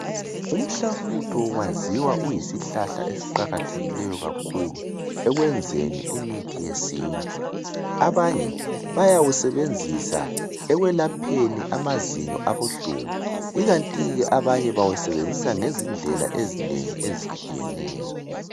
Umhlafutho uyaziwa uyisihlahla kakhulu ekwenzeni imithi yesintu abanye bayawusebenzisa ekwelapheni amazinyo abahlungu ikanti ke abanye bawusebenzisa ngezindlela ezinengi ezitshiyeneyo